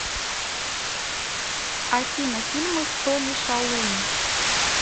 афина фильмы с тони шалум